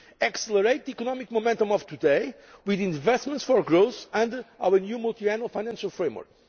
accelerate the economic momentum of today with investments for growth under our new Multiannual Financial Framework